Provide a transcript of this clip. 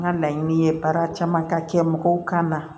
N ka laɲini ye baara caman ka kɛ mɔgɔw kan na